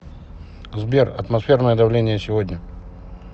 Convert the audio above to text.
сбер атмосферное давление сегодня